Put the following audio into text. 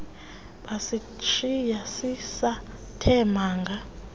basishiya sisathe manga